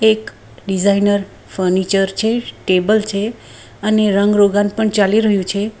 એક designer furniture છે table છે અને રંગ રોગાન પણ ચાલી રહ્યું છે.